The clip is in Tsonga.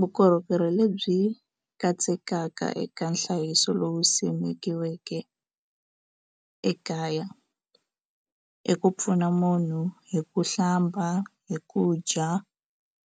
Vukorhokeri lebyi katsekaka eka nhlayiso lowu simikiweke ekaya i ku pfuna munhu hi ku hlamba hi ku dya